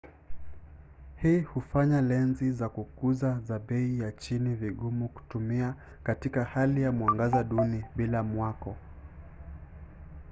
hii hufanya lenzi za kukuza za bei ya chini vigumu kutumia katika hali ya mwangaza duni bila mwako